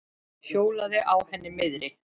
Hjólaði á henni miðri.